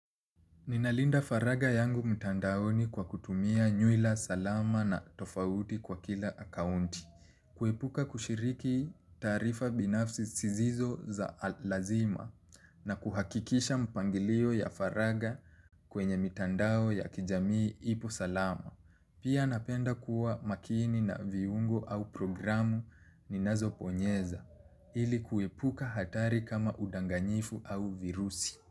Ninalinda faraga yangu mtandaoni kwa kutumia nywila salama na tofauti kwa kila akaunti, kuepuka kushiriki taarifa binafsi zisizo za lazima na kuhakikisha mpangilio ya faraga kwenye mitandao ya kijamii ipo salama. Pia napenda kuwa makini na viungo au programu ninazo bonyeza, ili kuepuka hatari kama udanganyifu au virusi.